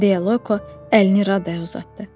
Deyə Loyko əlini Raddaya uzatdı.